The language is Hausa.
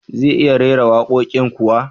Zai iya rera waƙoƙin kuwa?